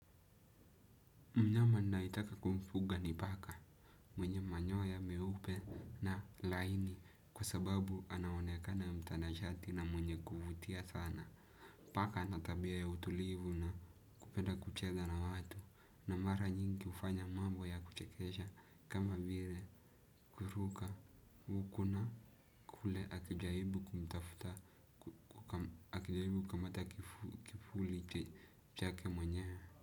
Mnyama naitaka kumfuga ni paka mwenye manyoa ya meupe na laini kwa sababu anaonekana mtanashati na mwenye kuvutia sana. Paka natabia ya utulivu na kupenda kucheza na watu na mara nyingi ufanya mambo ya kuchekesha kama vile kuruka ukuna kule akijaibu kumtafuta akijaibu kamata kifuli chake mwenyewe.